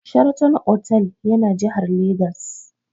Sheraton otal yana jihar Legas.